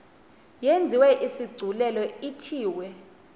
yenziwe isigculelo ithiwe